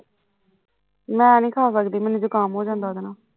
ਮੈਨੀ ਖਾ ਸਕਦੀ ਮੈਨੂੰ ਜ਼ੁਕਾਮ ਹੋ ਜਾਂਦਾ ਉਹਦੇ ਨਾਲ਼